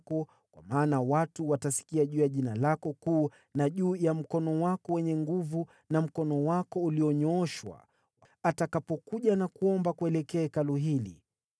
kwa maana watu watasikia juu ya Jina lako kuu na juu ya mkono wako wenye nguvu na mkono wako ulionyooshwa, atakapokuja na kuomba kuelekea Hekalu hili,